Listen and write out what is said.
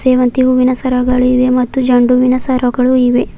ಸೇವಂತಿ ಹೂವಿನ ಸರಗಳು ಇವೆ ಮತ್ತು ಜೆಂಡು ಹೂವಿನ ಸರಗಳು ಇವೆ.